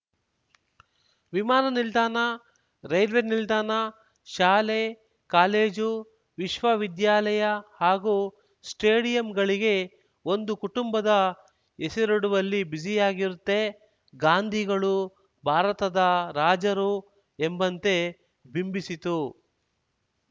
ವಿಮಾನನಿಲ್ದಾಣ railway ನಿಲ್ದಾಣ ಶಾಲೆ college ವಿಶ್ವವಿದ್ಯಾಲಯ ಹಾಗೂ ಸ್ಟೇಡಿಯಂಗಳಿಗೆ ಒಂದು ಕುಟುಂಬದ ಹೆಸರಿಡುವಲ್ಲಿ ಬ್ಯುಸಿಯಾಗಿರುತ್ತೆ ಗಾಂಧಿಗಳು ಭಾರತದ ರಾಜರು ಎಂಬಂತೆ ಬಿಂಬಿಸಿತು